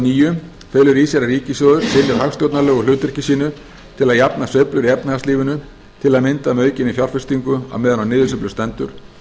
níu felur í sér að ríkissjóður sinnir hagstjórnarlegu hlutverki sínu til að jafna sveiflur í efnahagslífinu til að mynda með aukinni fjárfestingu á meðan á niðursveiflu stendur